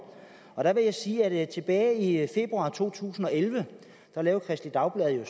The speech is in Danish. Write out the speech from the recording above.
jeg vil sige at tilbage i februar to tusind og elleve lavede kristeligt dagblad en